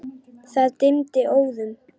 Það dimmdi óðum.